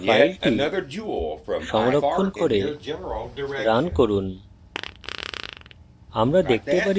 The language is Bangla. file সংরক্ষণ করে রান করুন